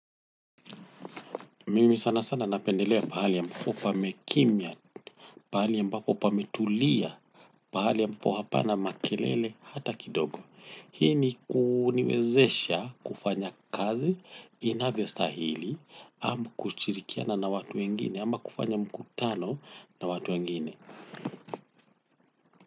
Mimi sana sana napendelea pahali ambapo pamekimya, pahali ambapo pametulia, pahali ambapo hapana makelele hata kidogo. Hii ni kuniwezesha kufanya kazi inavyostahili, ama kushirikiana na watu wengine, ama kufanya mkutano na watu wengine.